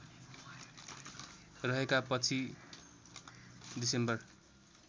रहनेका पछि डिसेम्बर